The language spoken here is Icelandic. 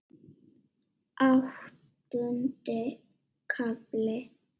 Áttundi kafli